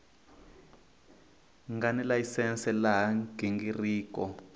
nga ni layisense laha nghingiriko